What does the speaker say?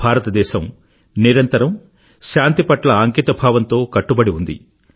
భారతదేశం నిరంతరం శాంతి పట్ల అంకితభావంతో కట్టుబడి ఉంది